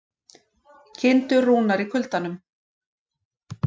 Kindur rúnar í kuldanum